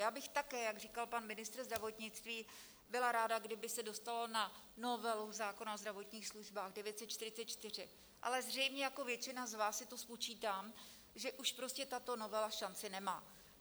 Já bych také, jak říkal pan ministr zdravotnictví, byla ráda, kdyby se dostalo na novelu zákona o zdravotních službách 944, ale zřejmě jako většina z vás si to spočítám, že už prostě tato novela šanci nemá.